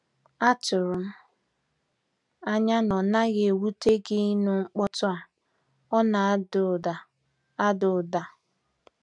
Atụrụ m anya na ọ naghị ewute gịnu mkpotu a, ọna ada ụda. ada ụda.